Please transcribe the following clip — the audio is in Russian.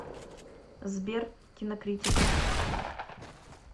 сбер кинокритика